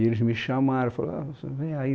E eles me chamaram e falaram, vem aí.